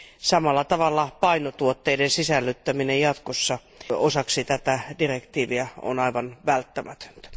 Samalla tavalla painotuotteiden sisällyttäminen jatkossa osaksi tätä asetusta on aivan välttämätöntä.